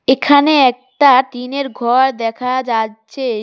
এখানে একটা টিন -এর ঘর দেখা যাচ্ছে।